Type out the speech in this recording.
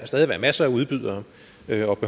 stadig være masser af udbydere